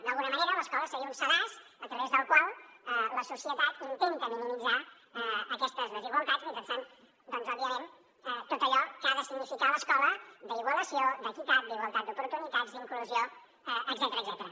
d’alguna manera l’escola seria un sedàs a través del qual la societat intenta minimitzar aquestes desigualtats mitjançant doncs òbviament tot allò que ha de significar l’escola d’igualació d’equitat d’igualtat d’oportunitats d’inclusió etcètera